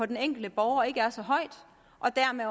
den enkelte borger ikke er så højt og dermed